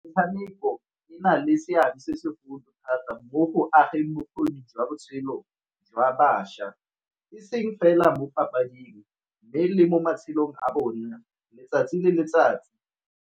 Metshameko e na le seabe se segolo thata mo go ageng bokgoni jwa botshelo jwa bašwa e seng fela mo papading, mme le mo matshelong a bona letsatsi le letsatsi.